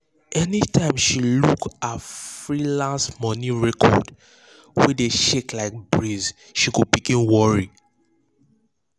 anytime she look her freelance money record wey dey shake like breeze she go begin worry.